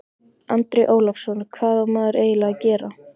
Andri Ólafsson: Hvað á maður eiginlega að gera?